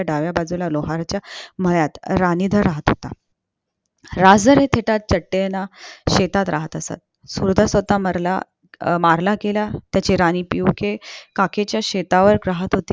डाव्या बाजूला लोहाराच्या मळ्यात राणीधार राहत होता राजर हे देहात सटेनच्या शेतात राहत असत मारला मारला गेला त्याची राणी पियूके कलेच्या शेताजवळ